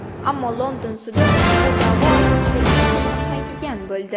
Ammo London sudi bu da’vo asosida ish qo‘zg‘atmaydigan bo‘ldi.